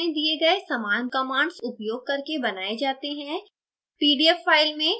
ये source file में दिए गए समान commands उपयोग करके बनाये जाते हैं